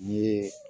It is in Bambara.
N ye